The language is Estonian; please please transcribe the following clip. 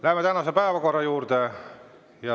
Läheme tänase päevakorra juurde.